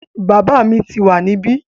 Bàbá mi tíì wá níbí